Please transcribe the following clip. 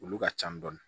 Olu ka ca dɔɔni